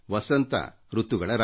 ವಸಂತ ಋತುಗಳ ರಾಜ